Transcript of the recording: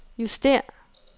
justér